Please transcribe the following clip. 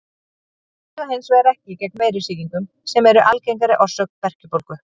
Þau duga hins vegar ekki gegn veirusýkingum sem eru algengari orsök berkjubólgu.